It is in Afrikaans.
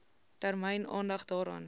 termyn aandag daaraan